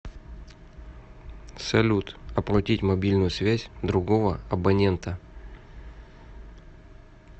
салют оплатить мобильную связь другого абонента